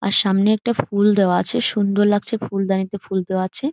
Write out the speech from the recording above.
আর সামনে একটা ফুল দেওয়া আছে সুন্দর লাগছে ফুলদানি তে ফুল দেওয়া আছে ।